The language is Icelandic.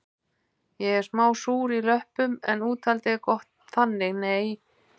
Ég er smá súr í löppum en úthaldið er gott þannig nei